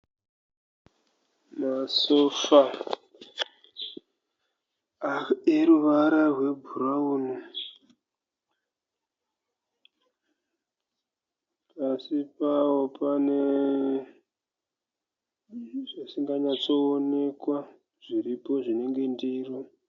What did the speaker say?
Masofa eruvara rwebhurauni. Pasi pawo pane zvisinganyatsooneka zviripo zvinenge ndiro